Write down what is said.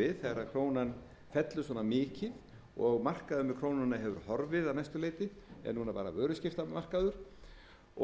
við þegar krónan fellur svona mikið og markaður með krónuna hefur horfið að mestu leyti er núna bara vöruskiptamarkaður